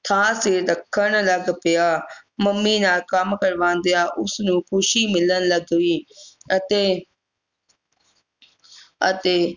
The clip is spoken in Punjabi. ਥਾਵ ਤੇ ਰੱਖਣ ਲੱਗ ਪਿਆ ਮੰਮੀ ਨਾਲ ਕੰਮ ਕਰਵਾਉਂਦਿਆਂ ਉਸ ਨੂੰ ਖ਼ੁਸ਼ੀ ਮਿਲਣ ਲੱਗ ਪਈ ਅਤੇ ਅਤੇ